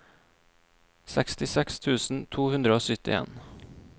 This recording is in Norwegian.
sekstiseks tusen to hundre og syttien